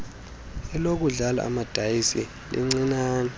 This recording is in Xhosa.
lokudlala amadayisi lalilincinane